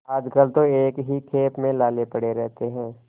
आजकल तो एक ही खेप में लाले पड़े रहते हैं